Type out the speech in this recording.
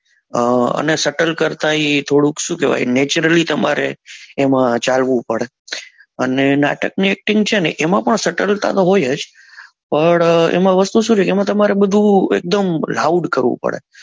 અ અને શટલ કરતા એ થોડુક શું કેવાય naturally એમાં તમારે ચાલવું પડે અને નાટક ની acting છે ને એમાય શાતાલતા તો હોય જ પણ એમાં વસ્તુ શું છે એમાં તમારે બધું એક દમ loud કરવું પડે